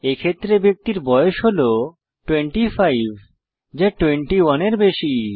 এক্ষেত্রে ব্যক্তির বয়স হল 25 যা 21 এর বেশি